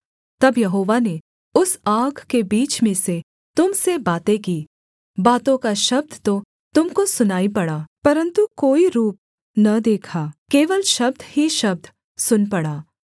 तब यहोवा ने उस आग के बीच में से तुम से बातें की बातों का शब्द तो तुम को सुनाई पड़ा परन्तु कोई रूप न देखा केवल शब्द ही शब्द सुन पड़ा